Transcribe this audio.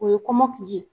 O ye kɔmɔkili ye